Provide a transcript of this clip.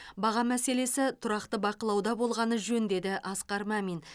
баға мәселесі тұрақты бақылауда болғаны жөн деді асқар мәмин